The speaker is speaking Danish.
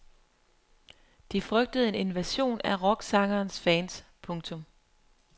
De frygtede en invasion af rocksangerens fans. punktum